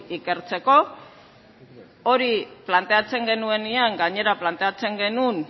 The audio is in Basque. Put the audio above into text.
ikertzeko hori planteatzen genuenean gainera planteatzen genuen